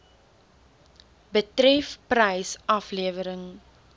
betref prys aflewering